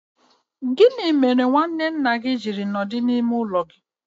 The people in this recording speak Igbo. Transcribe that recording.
Gị mere nwanne nna gị ji nọ n'ime ime ụlọ gị?